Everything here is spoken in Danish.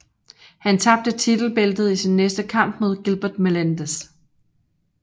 Han tabte titelbæltet i sin næste kamp mod Gilbert Melendez